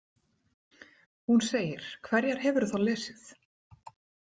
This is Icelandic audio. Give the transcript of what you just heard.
Hún segir: Hverjar hefurðu þá lesið?